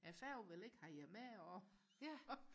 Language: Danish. færgen vil ikke have jer med og